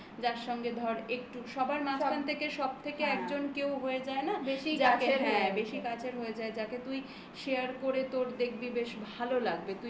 যার সঙ্গে ধর একটু সবার মাঝখান থেকে সবথেকে একজন কেউ হয়ে যায় না. বেশি কাছের হ্যাঁ বেশি কাছের হয়ে যায়. যাকে তুই share করে তোর দেখবি বেশ ভালো লাগবে.